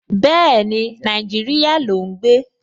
Bẹ́ẹ̀ni, Nàìjíríyà ló ún gbé